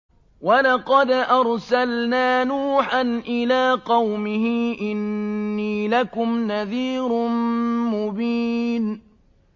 وَلَقَدْ أَرْسَلْنَا نُوحًا إِلَىٰ قَوْمِهِ إِنِّي لَكُمْ نَذِيرٌ مُّبِينٌ